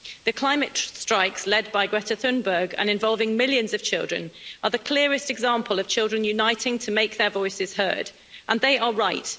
The climate strikes, led by Greta Thunberg and involving millions of children, are the clearest example of children uniting to make their voices heard, and they are right.